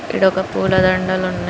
ఈడ ఒక పూల దండలు ఉన్నాయి. >]